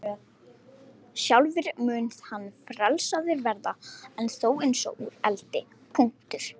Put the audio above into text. Sjálfur mun hann frelsaður verða, en þó eins og úr eldi.